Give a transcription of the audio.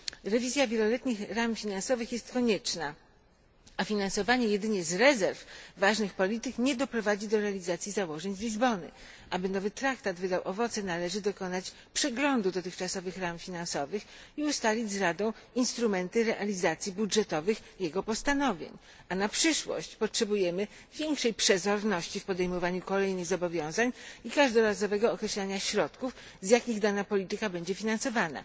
Rewizja wieloletnich ram finansowych jest konieczna, a finansowanie jedynie z rezerw ważnych polityk nie doprowadzi do realizacji założeń z Lizbony. Aby nowy traktat wydał owoce, należy dokonać przeglądu dotychczasowych ram finansowych i ustalić z Radą instrumenty realizacji jego postanowień budżetowych, a na przyszłość potrzebujemy większej przezorności w podejmowaniu kolejnych zobowiązań i każdorazowego określania środków, z jakich dana polityka będzie finansowana.